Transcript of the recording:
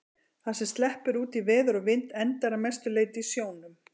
Það sem sleppur út í veður og vind endar að mestu leyti í sjónum.